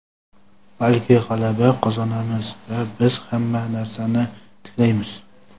balki g‘alaba qozonamiz va biz hamma narsani tiklaymiz!.